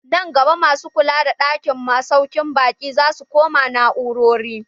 Nan gaba masu kula da ɗakin masaukin baƙi zasu koma na'urori.